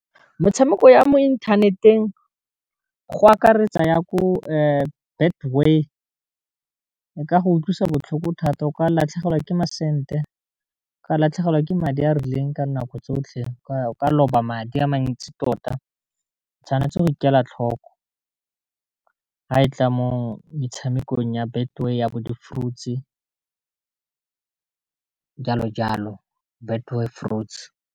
Metshameko ya mo inthaneteng go akaretsa ya ko Betway e ka go utlwisa botlhoko thata o ka latlhegelwa ke ma sente, ka latlhegelwa ke madi a a rileng ka nako tsotlhe o ka loba madi a mantsi tota, tshwanetse go ikela tlhoko ga e tla mo metshamekong ya Betway ya bo di-fruits jalo jalo Betway fruits.